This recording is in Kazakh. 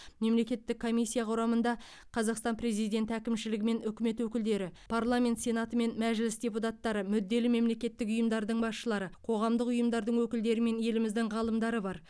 мемлекеттік комиссия құрамында қазақстан президенті әкімшілігі мен үкімет өкілдері парламент сенаты мен мәжіліс депутаттары мүдделі мемлекеттік ұйымдардың басшылары қоғамдық ұйымдардың өкілдері мен еліміздің ғалымдары бар